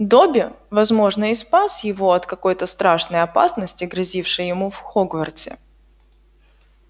добби возможно и спас его от какой-то страшной опасности грозившей ему в хогвартсе